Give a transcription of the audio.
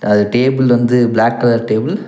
அது டேபுள் வந்து black colour table .